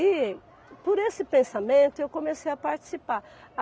E por esse pensamento, eu comecei a participar.